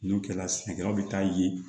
N'o kɛra sɛnɛkɛlaw bɛ taa ye